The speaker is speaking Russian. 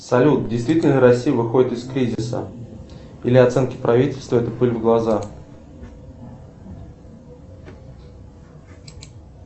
салют действительно ли россия выходит из кризиса или оценки правительства это пыль в глаза